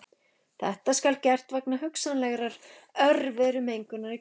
Þetta skal gert vegna hugsanlegrar örverumengunar í kjötinu.